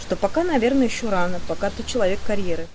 что пока наверное ещё рано пока ты человек карьеры